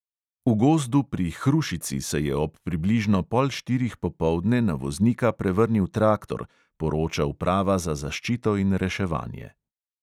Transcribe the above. V gozdu pri hrušici se je ob približno pol štirih popoldne na voznika prevrnil traktor, poroča uprava za zaščito in reševanje.